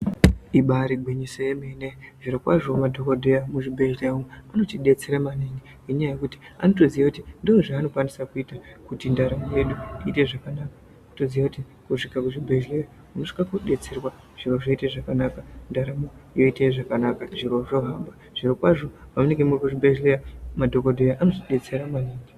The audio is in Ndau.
Ibari gwinyiso yemene zvirokwazvo madhokodheya muzvibhedhlera umwu anotidetsera maningi ngenyaya yekuti anotoziye kuti ndozva anokwanisa kuita kuti ndaramo yedu iite zvakanaka totoziye kuti kusvika kuzvibhedhlera unosvike kodetserwa zviro zvoite zvakanaka ndaramo yoite zvakanaka zviro zvozvo zvirokwazvo pamunenge muri kuzvibhedhlera madhokodheya anotibetsera maningi.